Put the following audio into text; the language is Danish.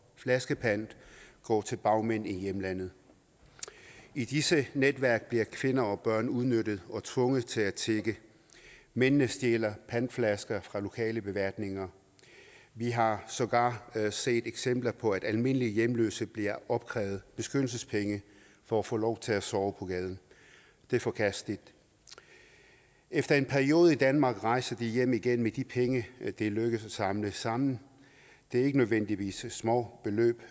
flaskepant går til bagmænd i hjemlandet i disse netværk bliver kvinder og børn udnyttet og tvunget til at tigge mændene stjæler pantflasker fra lokale beværtninger vi har sågar set eksempler på at almindelige hjemløse bliver opkrævet beskyttelsespenge for at få lov til at sove på gaden det er forkasteligt efter en periode i danmark rejser de hjem igen med de penge det er lykkedes dem at samle sammen det er ikke nødvendigvis småbeløb